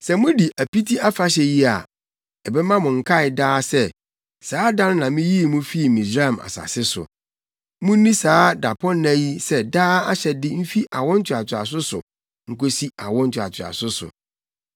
“Sɛ mudi Apiti Afahyɛ yi a, ɛbɛma mo akae daa sɛ, saa da no na miyii mo fii Misraim asase so. Munni saa dapɔnna yi sɛ daa ahyɛde mfi awo ntoatoaso so nkosi awo ntoatoaso so.